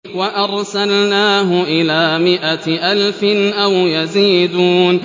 وَأَرْسَلْنَاهُ إِلَىٰ مِائَةِ أَلْفٍ أَوْ يَزِيدُونَ